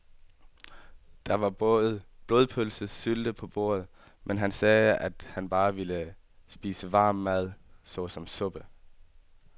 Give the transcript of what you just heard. Der var både blodpølse og sylte på bordet, men han sagde, at han bare ville spise varm mad såsom suppe.